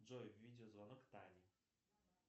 джой видео звонок тане